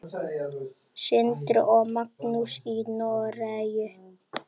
Sindri og Magnús í Noregi.